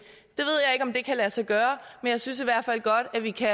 om det kan lade sig gøre men jeg synes i hvert fald godt at vi kan